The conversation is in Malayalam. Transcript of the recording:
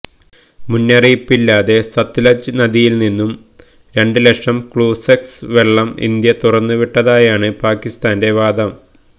മുന്നറിയിപ്പില്ലാതെ സത്ലജ് നദിയില് നിന്നും രണ്ട് ലക്ഷം ക്യുസെക്സ് വെള്ളം ഇന്ത്യ തുറന്നു വിട്ടതായാണ് പാകിസ്ഥാന്റെ വാദം